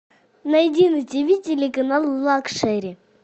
найди на тиви телеканал лакшери